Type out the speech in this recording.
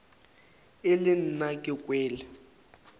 e le nna ke kwele